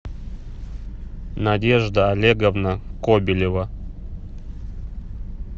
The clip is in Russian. надежда олеговна кобелева